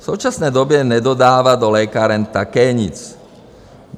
V současné době nedodává do lékáren také nic.